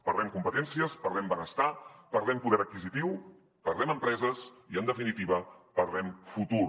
perdem competències perdem benestar perdem poder adquisitiu perdem empreses i en definitiva perdem futur